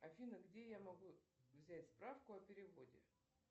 афина где я могу взять справку о переводе